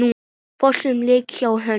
Flottur leikur hjá honum.